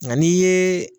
Nka n'i ye